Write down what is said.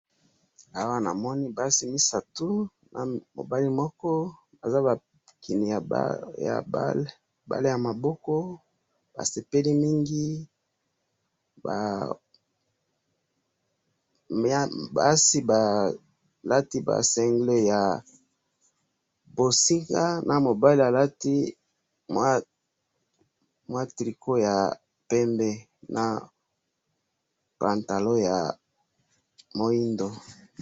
awa namoni basi misatu, na mobali moko baza bakini ya bale, bale ya maboko, basepeli mingi, basi balati ba cingles ya bosinga, na mobali alati tricot ya pembe, na pantalon ya muindo